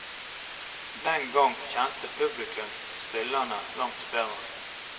Den gang kjente publikum spillerne langt bedre.